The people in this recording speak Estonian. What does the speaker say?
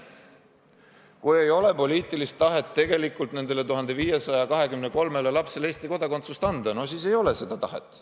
Kui ei ole poliitilist tahet tegelikult nendele 1523 lapsele Eesti kodakondsust anda, siis ei ole seda tahet.